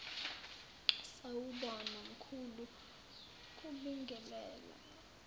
sawubona mkhulu kubingelela